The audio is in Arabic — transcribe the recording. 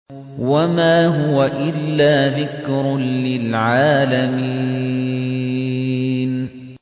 وَمَا هُوَ إِلَّا ذِكْرٌ لِّلْعَالَمِينَ